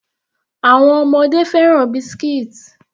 Àwọn ọmọdé fẹ́ràn biscuits.